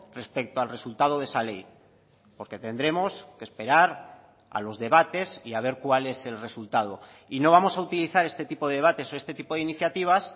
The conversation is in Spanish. respecto al resultado de esa ley porque tendremos que esperar a los debates y a ver cuál es el resultado y no vamos a utilizar este tipo de debates o este tipo de iniciativas